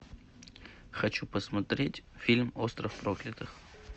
хочу посмотреть фильм остров проклятых